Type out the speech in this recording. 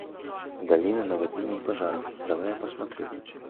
долина наводнений и пожаров давай я посмотрю